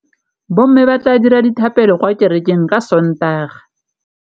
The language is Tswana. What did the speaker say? Bommê ba tla dira dithapêlô kwa kerekeng ka Sontaga.